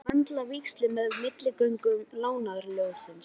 Ég var búinn að möndla víxil með milligöngu Lánasjóðsins.